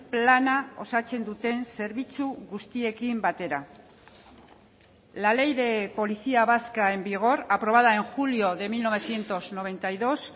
plana osatzen duten zerbitzu guztiekin batera la ley de policía vasca en vigor aprobada en julio de mil novecientos noventa y dos